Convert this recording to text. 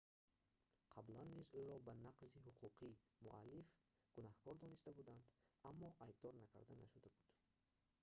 қаблан низ ӯро ба нақзи ҳуқуқи муаллиф гунаҳкор дониста буданд аммо айбдор накарда нашуда буд